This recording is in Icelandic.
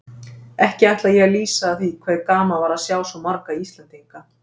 Ekki ætla ég að lýsa því hve gaman var að sjá svo marga Íslendinga.